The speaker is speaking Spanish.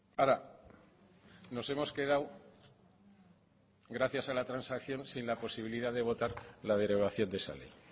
ahora nos hemos quedado gracias a la transacción sin la posibilidad de votar la derogación de esa ley